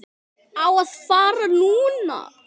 Á að fara núna.